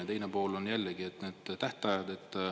Ja teine pool on jällegi need tähtajad.